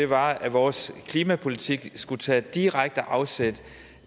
var at vores klimapolitik skulle tage direkte afsæt